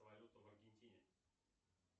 валюта в аргентине